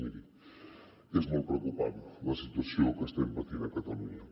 miri és molt preocupant la situació que estem patint a catalunya